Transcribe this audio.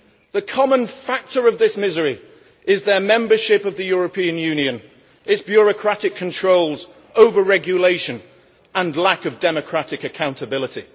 The common factor of this misery is their membership of the European Union, its bureaucratic controls, over regulation and lack of democratic accountability.